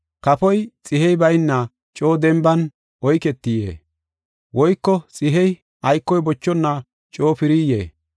Kafoy xihey bayna coo denban oyketiyee? Woyko xihey aykoy bochonna coo piriyee?